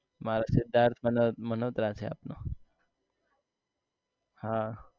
મારે તો સિધાર્થ મનોહત્રા મલોહત્રા છે આપડો હાં